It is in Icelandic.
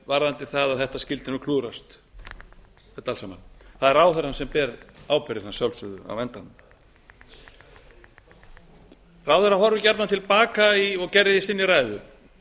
varðandi það að þetta skyldi klúðrast allt saman það er ráðherrann sem ber ábyrgðina að sjálfsögðu á endanum ráðherrann horfir gjarnan til baka og gerði í sinni ræðu